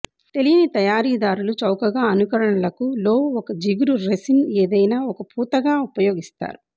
తెలియని తయారీదారులు చౌకగా అనుకరణలకు లో ఒక జిగురు రెసిన్ ఏదైనా ఒక పూతగా ఉపయోగిస్తారు